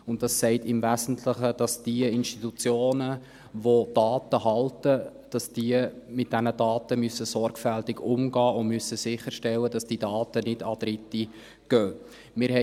Dieses sagt im Wesentlichen, dass diejenigen Institutionen, welche Daten halten, mit diesen Daten sorgfältig umgehen und sicherstellen müssen, dass diese Daten nicht an Dritte gehen.